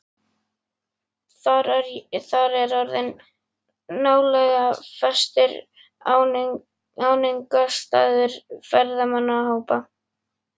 Þar er orðinn nálega fastur áningarstaður ferðamannahópa.